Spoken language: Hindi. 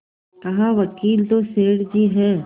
कहावकील तो सेठ जी हैं